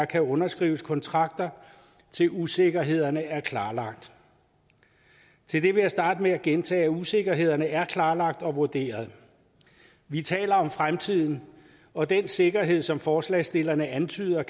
kan underskrives kontrakter indtil usikkerhederne er klarlagt til det vil jeg starte med at gentage at usikkerhederne er klarlagt og vurderet vi taler om fremtiden og den sikkerhed som forslagsstillerne antyder